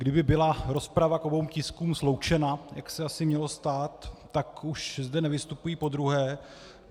Kdyby byla rozprava k obou tiskům sloučena, jak se asi mělo stát, tak už zde nevystupuji podruhé.